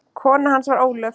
Kona hans var Ólöf